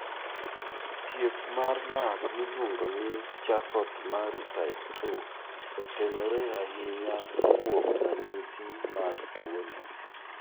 Thieth mar lak miluongo ni Charcot Marie type 2 otenore ahinya kuom ranyisi mag tuwono.